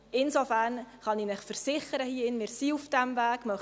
Insofern kann ich Ihnen versichern, dass wir auf diesem Weg sind.